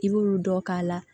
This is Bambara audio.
I b'olu dɔ k'a la